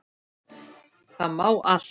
Það mál allt.